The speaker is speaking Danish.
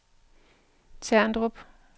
Terndrup